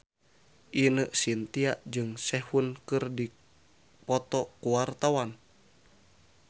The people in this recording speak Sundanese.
Ine Shintya jeung Sehun keur dipoto ku wartawan